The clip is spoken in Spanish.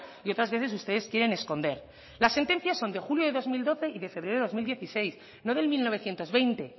y otras veces ustedes quieren esconder las sentencias son de julio de dos mil doce y de febrero de dos mil dieciséis no del mil novecientos veinte